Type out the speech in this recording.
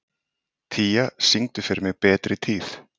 Tía, syngdu fyrir mig „Betri tíð“.